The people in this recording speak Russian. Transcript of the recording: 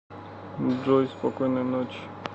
джой спокойной ночи